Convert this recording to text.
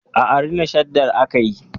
Aa, Rina Shaddar aka yi